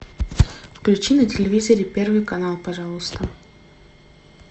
включи на телевизоре первый канал пожалуйста